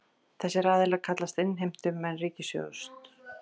Þessir aðilar kallist innheimtumenn ríkissjóðs